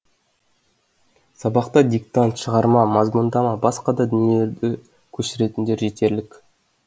сабақта диктант шығарма мазмұндама басқа да дүниелерді көшіретіндер жетерлік